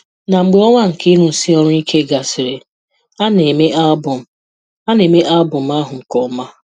Na mgbe ọnwa nke ịrụsi ọrụ ike gasịrị, a na-eme album a na-eme album ahụ nke ọma.